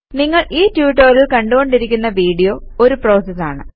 നിങ്ങൾ ഈ ട്യൂട്ടോറിയൽ കണ്ടുകൊണ്ടിരിക്കുന്ന വീഡിയോ ഒരു പ്രോസസ് ആണ്